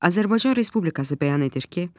Azərbaycan Respublikası bəyan edir ki,